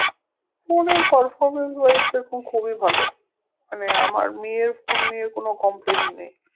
Phone এর performance wise দেখুন খুবই ভালো, মানে আমার মি এর phone নিয়ে কোনো complain নেই